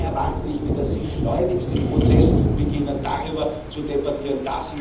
Da erwarte ich mir, dass Sie schleunigst den Prozess beginnen, darüber zu debattieren.